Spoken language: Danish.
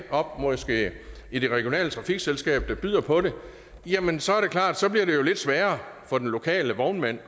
i det regionale trafikselskab der byder på det jamen så er det klart så bliver lidt sværere for den lokale vognmand